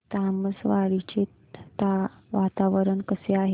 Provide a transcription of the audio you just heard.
तामसवाडी चे वातावरण कसे आहे